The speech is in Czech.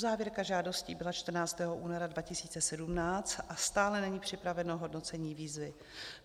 Uzávěrka žádostí byla 14. února 2017 a stále není připraveno hodnocení výzvy.